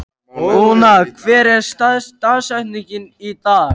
Úna, hver er dagsetningin í dag?